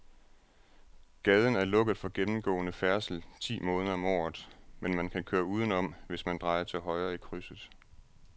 Gaden er lukket for gennemgående færdsel ti måneder om året, men man kan køre udenom, hvis man drejer til højre i krydset.